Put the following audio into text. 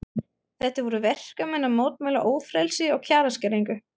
Þetta voru verkamenn að mótmæla ófrelsi og kjaraskerðingu.